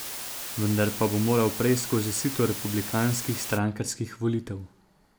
Vendar pa bo moral prej skozi sito republikanskih strankarskih volitev.